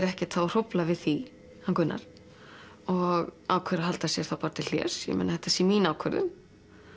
ekkert að hrófla við því hann Gunnar og ákveður að halda sig þá bara til hlés því þetta sé mín ákvörðun